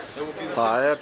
hvað er